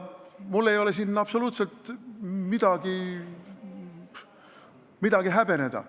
Mul ei ole siin absoluutselt midagi häbeneda.